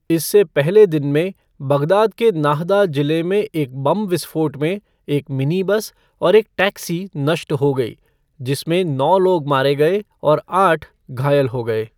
इससे पहले दिन में, बगदाद के नाहदा जिले में एक बम विस्फोट में एक मिनी बस और एक टैक्सी नष्ट हो गई, जिसमें नौ लोग मारे गए और आठ घायल हो गए।